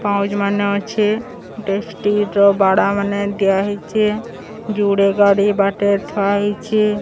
ପାଉଜ୍ ମାନେ ଅଛେ। ଡେ ଷ୍ଟିର୍ ର ବାଡାମାନେ ଦିଆହେଇଚି। ଯୋଡ଼େ ଗାଡ଼ି ବାଟେ ଥୁଆ ହୋଇଚେ।